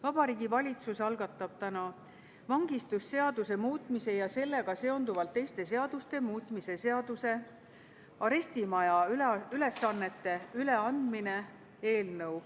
Vabariigi Valitsus algatab täna vangistusseaduse muutmise ja sellega seonduvalt teiste seaduste muutmise seaduse eelnõu.